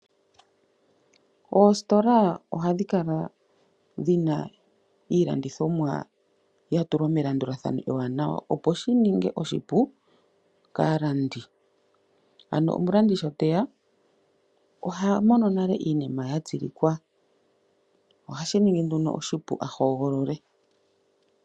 Oositola ohadhi kala dhina iilandithomwa yatulwa melandulathano ewanawa opo shininge oshipu kaalandi. Ano omulandi sho teya ohamono nale iinima yatsilikwa . Ohashi ningi nduno oshipu ahogolole.